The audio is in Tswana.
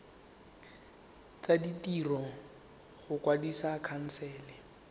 tsa ditiro go kwadisa khansele